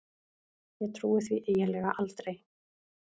Ég trúi því eiginlega aldrei.